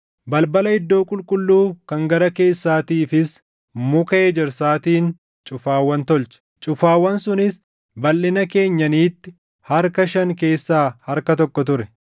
Balbala iddoo qulqulluu kan gara keessaatiifis muka ejersaatiin cufaawwan tolche; cufaawwan sunis balʼina keenyaniitti harka shan keessaa harka tokko ture.